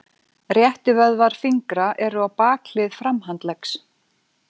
Réttivöðvar fingra eru á bakhlið framhandleggs.